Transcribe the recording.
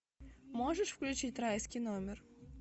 можешь включить райский номер